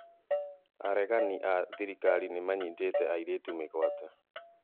Aregani a thirikari nĩmanyitĩte airĩtu mĩgwate